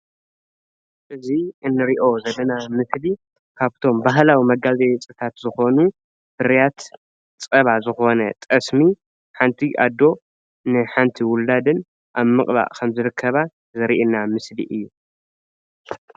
እዙይ እንርእዮ ዘለና ምስሊ ካብቶም ባህላዊ መጋየፅታት ዝኮኑ ፍርያት ፀባ ዝኮነ ጠስሚ ሓንቲ ኣዶ ንሓንቲ ውላደን ኣብ ምቅባእ ከምዝርከባ ዘርእየና ምስሊ እዩ።